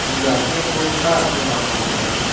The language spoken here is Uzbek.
Hujjatni O‘zA e’lon qildi .